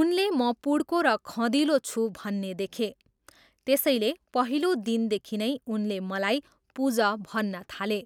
उनले म पुड्को र खँदिलो छु भन्ने देखे, त्यसैले, पहिलो दिनदेखि नै उनले मलाई 'पुज' भन्न थाले।